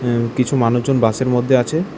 এবং কিছু মানুষজন বাসের মধ্যে আছে।